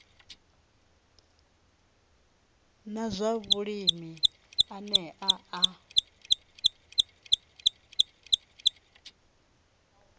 na zwa vhulimi ane a